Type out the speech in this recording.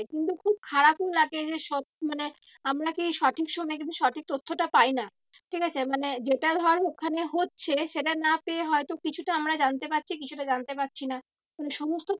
কিন্তু খুব খারাপই লাগে যে সব মানে আমরা কে সঠিক সময় কিন্তু সঠিক তথ্যটা পাই না। ঠিক আছে মানে যেটা ধর ওখানে হচ্ছে সেটা না পেয়ে হয়তো কিছুটা আমরা জানতে পারছি কিছুটা জানতে পারছি না মানে সমস্ত